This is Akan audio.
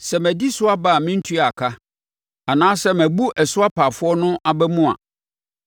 sɛ madi so aba a mentuaa ka anaasɛ mabu ɛso apaafoɔ no abamu a,